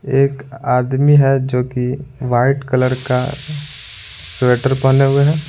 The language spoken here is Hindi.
एक आदमी है जो कि वाइट कलर का स्वेटर पहने हुए हैं।